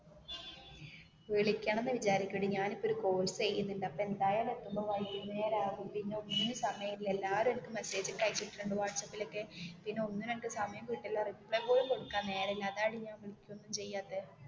വിളിക്കണം എന്ന് വിചാരിക്കും എടി ഞാൻ ഇപ്പോ ഒരു കോഴ്‌സ് ചെയുന്നുണ്ട് അപ്പോൾ എന്തായാലും എത്തുമ്പോൾ വൈകുംനേരം ആവും പിന്നേ ഒന്നിനും സമയം ഇല്ല എല്ലാരും എനിക്ക് മെസ്സേജ് ടൈപ്പ് ചെയ്തു ഇട്ടിട്ടുണ്ട് വഹട്സപ്പില് ഒക്കേ പിന്നേ ഒന്നിനും എനിക്ക് സമയം കിട്ടില്ല റിപ്ലൈ പോലും കൊടുക്കാൻ നേരം ഇല്ല അതാടി ഞാൻ വിളിക്കുവേം ഒന്നും ചെയ്യാതെ